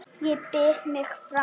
Ég býð mig fram.